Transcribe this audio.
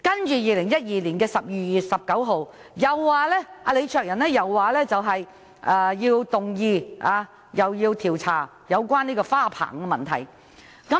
在2012年12月19日，李卓人又動議調查有關花棚的問題。